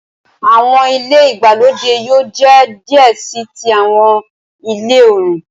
Awọn ile igbalode yoo jẹ diẹ sii ti awọn ile-ọrun.